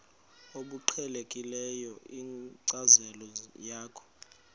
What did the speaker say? obuqhelekileyo kwinkcazo yakho